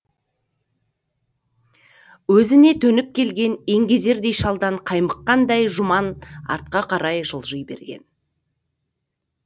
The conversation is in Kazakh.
өзіне төніп келген еңгезердей шалдан қаймыққандай жұман артқа жылжи берген